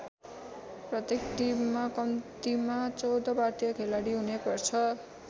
प्रत्येक टिममा कम्तीमा १४ भारतीय खेलाडी हुनैपर्छ।